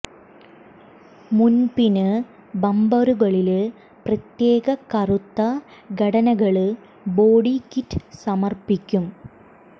മുന് പിന് ബമ്പറുകളില് പ്രത്യേക കറുത്ത ഘടനകള് ബോഡി കിറ്റ് സമര്പ്പിക്കും